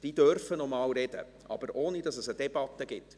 Diese dürfen noch einmal sprechen, aber ohne, dass es eine Debatte gibt.